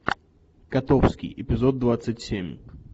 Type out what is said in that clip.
котовский эпизод двадцать семь